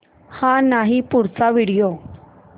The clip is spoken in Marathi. हा नाही पुढचा व्हिडिओ